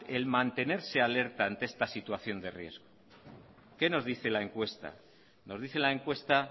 el mantenerse alerta ante esta situación de riesgo qué nos dice la encuesta nos dice la encuesta